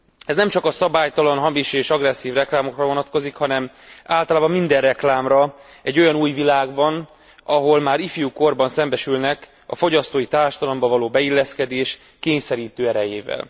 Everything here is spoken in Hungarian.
Ez nemcsak a szabálytalan, hamis és agresszív reklámokra vonatkozik, hanem általában minden reklámra egy olyan új világban, ahol már ifjú korban szembesülnek a fogyasztói társadalomba való beilleszkedés kényszerítő erejével.